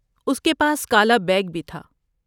اس کے پاس کالا بیگ بھی تھا۔